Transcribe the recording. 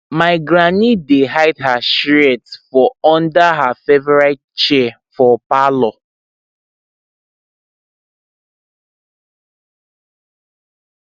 my granny dey hide her shears for under her favorite chair for parlor